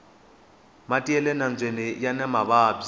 mati yale nambyeni yani mavabyi